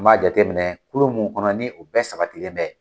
N ba jateminɛ kulu mun kɔnɔ ni o bɛɛ sabatilen bɛ.